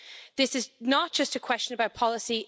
This is not just a question about policy.